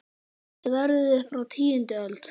Sverðið er frá tíundu öld.